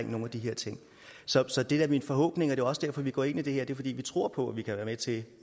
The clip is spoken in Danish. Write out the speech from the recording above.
nogle af de her ting så så det er da min forhåbning det er også derfor vi går ind i det her det er fordi vi tror på vi kan være med til at